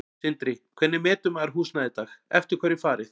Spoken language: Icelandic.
Sindri: Hvernig metur maður húsnæði í dag, eftir hverju er farið?